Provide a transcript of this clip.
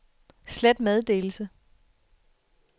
slet meddelelse